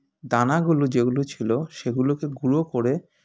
দানাগুলো যেগুলো ছিল সেগুলোকে গুঁড়ো করে